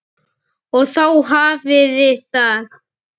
Og þá hafiði það!